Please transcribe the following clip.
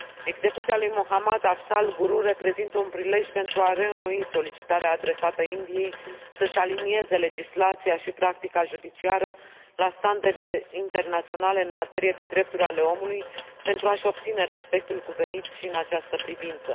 Execuția lui Mohammad Afzal Guru reprezintă un prilej pentru a reînnoi solicitarea adresată Indiei să și alinieze legislația și practica judiciară la standardele internaționale în materie de drepturi ale omului pentru a și obține respectul cuvenit și în această privință.